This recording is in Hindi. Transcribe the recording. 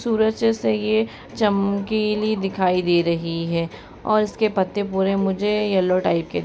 सूरज जैसा ये चमकीली दिखाई दे रही है और इस के पत्ते पूरे मुझे येलो टाइप के --